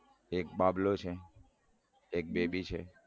એક બાબલો છે એક બેબી છે.